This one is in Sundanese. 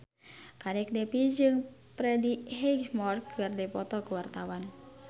Kadek Devi jeung Freddie Highmore keur dipoto ku wartawan